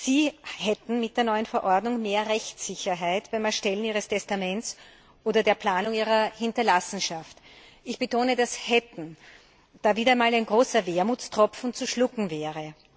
Sie hätten mit der neuen Verordnung mehr Rechtssicherheit beim Erstellen ihres Testaments oder der Planung ihrer Hinterlassenschaft. Ich betone das Wort hätten, da wieder einmal ein großer Wermutstropfen zu schlucken wäre.